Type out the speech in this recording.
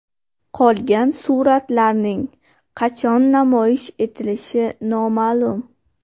Qolgan suratlarning qachon namoyish etilishi noma’lum.